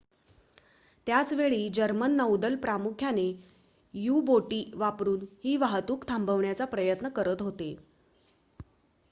त्याच वेळी जर्मन नौदल प्रामुख्याने यू-बोटी वापरुन ही वाहतूक थांबविण्याचा प्रयत्न करत होते